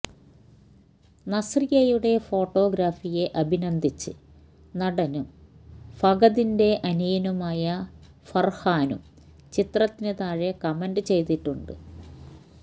നസ്രിയയുടെ ഫോട്ടോഗ്രഫിയെ അഭിനന്ദിച്ച് നടനും ഫഹദിന്റെ അനിയനുമായ ഫർഹാനും ചിത്രത്തിന് താഴെ കമന്റ് ചെയ്തിട്ടുണ്ട്